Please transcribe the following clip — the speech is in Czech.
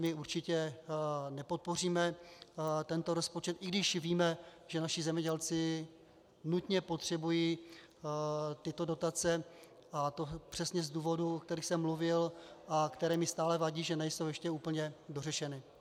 My určitě nepodpoříme tento rozpočet, i když víme, že naši zemědělci nutně potřebují tyto dotace, a to přesně z důvodů, o kterých jsem mluvil a které mi stále vadí, že nejsou ještě úplně dořešeny.